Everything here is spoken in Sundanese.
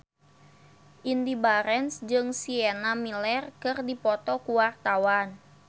Indy Barens jeung Sienna Miller keur dipoto ku wartawan